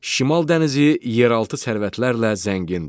Şimal dənizi yeraltı sərvətlərlə zəngindir.